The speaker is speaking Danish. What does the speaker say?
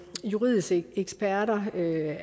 juridiske eksperter